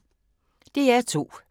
DR2